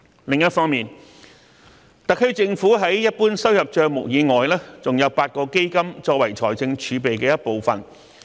另一方面，特區政府在一般收入帳目以外還設有8個基金，作為財政儲備的一部分。